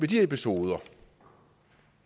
de episoder